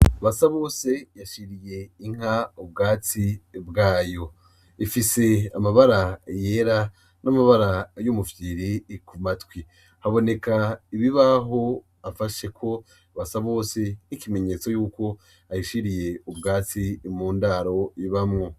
Basabose yashiriye inka ubwatsi bwayo, ifise amabara yera n'amabara y'umufyiri ku matwi, haboneka ibibaho afasheko Basabose nk'ikimenyetse yuko ayishiriye ubwatsi mu ndaro ibamwo.